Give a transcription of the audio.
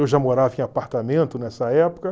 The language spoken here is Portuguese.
Eu já morava em apartamento nessa época.